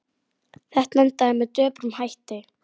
Þetta endaði með döprum hætti.